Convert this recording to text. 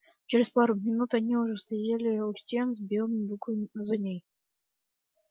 через пару минут они уже стояли у стен с белыми буквами на ней